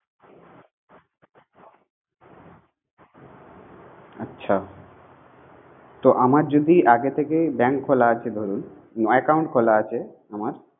আচ্ছা তো আমার যদি আগে থেকেই bank খোলা আছে ধরুন, মানে account খোলা আছে আমার